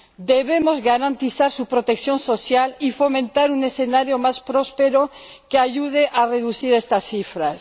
Debemos garantizar su protección social y fomentar un escenario más próspero que ayude a reducir estas cifras.